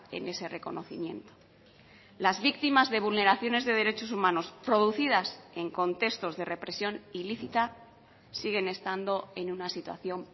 en ese reconocimiento las victimas de vulneraciones de derechos humanos producidas en contextos de represión ilícita siguen estando en una situación